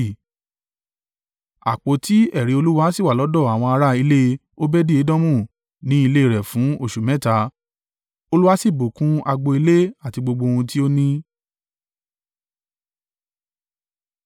Àpótí ẹ̀rí Olúwa sì wà lọ́dọ̀ àwọn ará ilé Obedi-Edomu ní ilé rẹ̀ fún oṣù mẹ́ta, Olúwa sì bùkún agbo ilé àti gbogbo ohun tí ó ní.